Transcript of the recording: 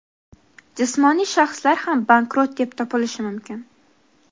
Jismoniy shaxslar ham bankrot deb topilishi mumkin.